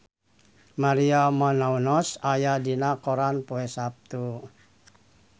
Maria Menounos aya dina koran poe Saptu